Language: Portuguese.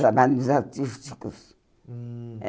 Trabalhava nos artísticos. Hum